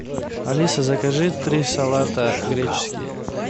алиса закажи три салата греческий